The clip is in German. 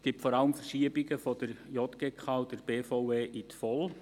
Es gibt vor allem Verschiebungen von der JGK und der BVE in die VOL.